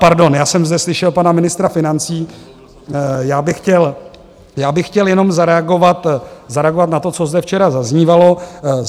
Pardon, já jsem zde slyšel pana ministra financí, já bych chtěl jenom zareagovat na to, co zde včera zaznívalo.